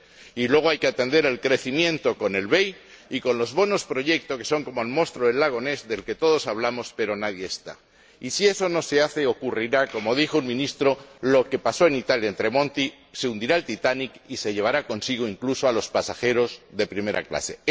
9. Y luego, hay que atender el crecimiento con el BEI y con los bonos proyecto, que son como el monstruo del Lago Ness, del que todos hablamos pero que nadie ha visto. Y si eso no se hace, ocurrirá lo que dijo el Ministro Tremonti en Italia se hundirá el Titanic y se llevará consigo, incluso, a los pasajeros de primera clase.